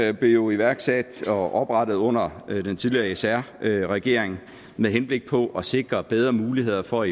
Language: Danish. jo iværksat og oprettet under den tidligere s r regering med henblik på at sikre bedre muligheder for